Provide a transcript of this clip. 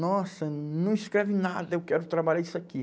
Nossa, não escreve nada, eu quero trabalhar isso aqui.